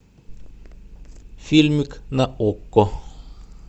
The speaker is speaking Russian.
фильмик на окко